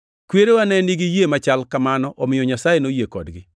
Kwerewa ne nigi yie machal kamano omiyo Nyasaye noyie kodgi.